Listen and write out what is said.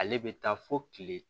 Ale bɛ taa fo kile